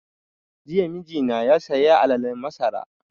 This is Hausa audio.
Jiya mijina ya saya alalen masara